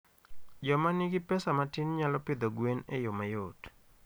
Joma nigi pesa matin nyalo pidho gwen e yo mayot.